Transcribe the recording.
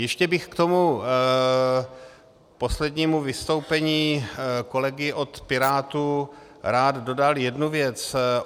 Ještě bych k tomu poslednímu vystoupení kolegy od Pirátů rád dodal jednu věc.